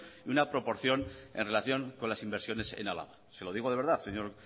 y una proporción en relación con las inversiones en álava se lo digo de verdad señor